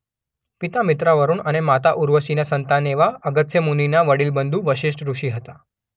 પિતા મિત્રાવરુણ અને માતા ઉર્વશીના સંતાન એવા અગસ્ત્ય મુનિના વડીલબંધુ વસિષ્ઠ ઋષિ હતા.